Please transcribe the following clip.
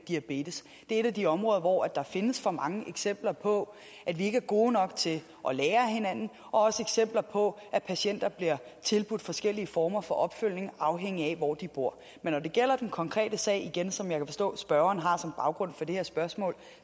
diabetes det er et af de områder hvor der findes for mange eksempler på at vi ikke er gode nok til at lære af hinanden og også eksempler på at patienter bliver tilbudt forskellige former for opfølgning afhængigt af hvor de bor men når det gælder den konkrete sag igen som jeg kan forstå spørgeren har som baggrund for det her spørgsmål